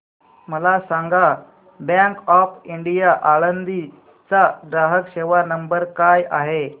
मला सांगा bank of India Alandi चा ग्राहक सेवा नंबर काय आहे